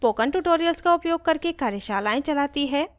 spoken tutorials का उपयोग करके कार्यशालाएं चलाती है